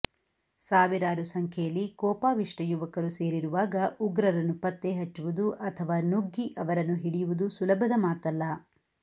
ಸಾವಿರಾರು ಸಂಖ್ಯೆಯಲ್ಲಿ ಕೋಪಾವಿಷ್ಠ ಯುವಕರು ಸೇರಿರುವಾಗ ಉಗ್ರರನ್ನು ಪತ್ತೆ ಹಚ್ಚುವುದು ಅಥವಾ ನುಗ್ಗಿ ಅವರನ್ನು ಹಿಡಿಯುವುದು ಸುಲಭದ ಮಾತಲ್ಲ